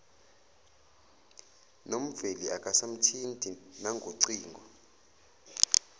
nomveli akasamthinti nangocingo